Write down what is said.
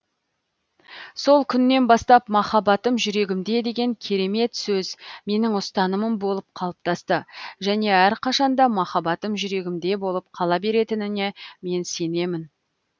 сол күннен бастап махаббатым жүрегімде деген керемет сөз менің ұстанымым болып қалыптасты және әрқашан да махаббатым жүрегімде болып қала беретініне мен сенемін